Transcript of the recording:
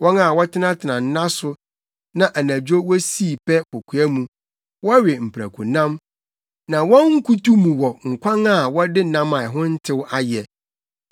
wɔn a wɔtenatena nna so na anadwo wosii pɛ kokoa mu; wɔwe mprakonam na wɔn nkutu mu wɔ nkwan a wɔde nam a ɛho ntew ayɛ;